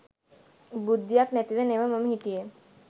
බුද්ධියක් නැතිව නෙව මම හිටියේ.